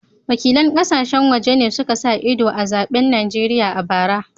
Wakilan kasashen waje ne suka sa ido a zaben Najeriya a bara